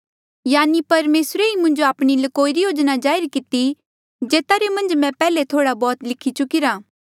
यानि परमेसरे ही मुंजो आपणी ल्कोई री योजना जाहिर किती जेता रे मन्झ मैं पैहले थोड़ा बौह्त लिखी चुकिरा